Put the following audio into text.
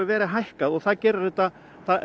verið hækkað og það gerir þetta